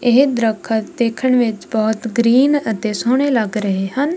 ਇਹ ਦਰੱਖਤ ਦੇਖਣ ਵਿੱਚ ਬਹੁਤ ਗ੍ਰੀਨ ਅਤੇ ਸੋਹਣੇ ਲੱਗ ਰਹੇ ਹਨ।